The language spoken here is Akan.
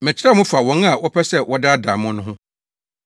Mekyerɛw mo fa wɔn a wɔpɛ sɛ wɔdaadaa mo no ho.